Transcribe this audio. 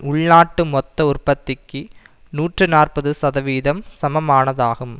உள்நாட்டு மொத்த உற்பத்திக்கு நூற்றி நாற்பது சதவிகிதம் சமமானதாகும்